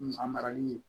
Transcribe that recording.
A marali